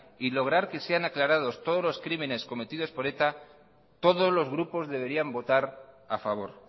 y lograr que sean aclarados todos los crímenes cometidos por eta todos los grupos deberían votar a favor